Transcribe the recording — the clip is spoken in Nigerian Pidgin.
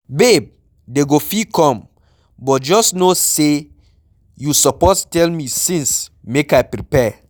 Babe, dey go fit come, but just no say you suppose tell me since make I prepare.